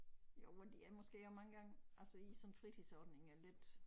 Jo men de er måske også mange gange altså i sådan fritidsordninger lidt